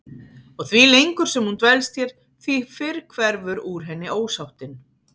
Og því lengur sem hún dvelst hér því fyrr hverfur úr henni ósáttin.